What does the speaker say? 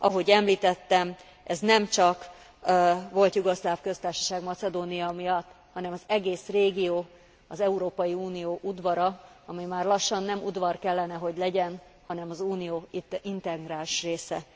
Ahogy említettem, ez nem csak Volt Jugoszláv Köztársaság Macedónia miatt, hanem az egész régió, az Európai Unió udvara, ami már lassan nem udvar kellene, hogy legyen, hanem az Unió integráns része.